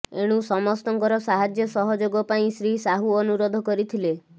ଏଣୁ ସମସ୍ତଙ୍କର ସାହାଯ୍ୟ ସହଯୋଗ ପାଇଁ ଶ୍ରୀସାହୁ ଅନୁରୋଧ କରିଥିଲେ